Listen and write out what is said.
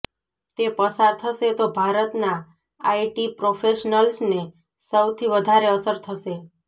તે પસાર થશે તો ભારતના આઈટી પ્રોફેશનલ્સને સૌથી વધારે અસર થશે